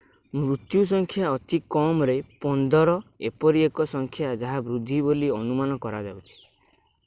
ମୃତ୍ୟୁ ସଂଖ୍ୟା ଅତି କମରେ 15 ଏପରି ଏକ ସଂଖ୍ୟା ଯାହା ବୃଦ୍ଧି ବୋଲି ଅନୁମାନ କରାଯାଉଛି